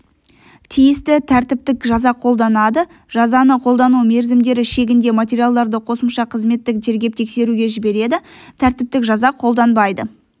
тиісті тәртіптік жаза қолданады жазаны қолдану мерзімдері шегінде материалдарды қосымша қызметтік тергеп-тексеруге жібереді тәртіптік жаза қолданбайды